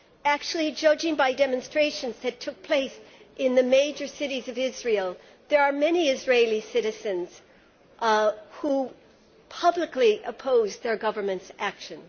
Actually, judging by demonstrations that took place in the major cities of Israel, there are many Israeli citizens who publicly oppose their Government's action.